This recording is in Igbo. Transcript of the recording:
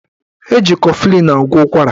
Eji kọflịn agwọ ụkwara